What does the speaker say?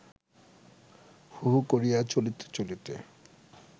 হু হু করিয়া চলিতে চলিতে